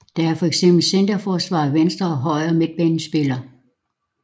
Der er for eksempel centerforsvarere og venstre og højre midtbanespillere